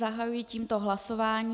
Zahajuji tímto hlasování.